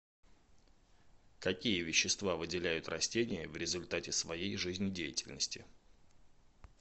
какие вещества выделяют растения в результате своей жизнедеятельности